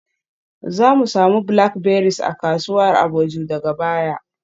Zamu samu blackberries a kasuwar Agboju daga baya.